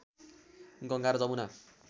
गङ्गा र जमुना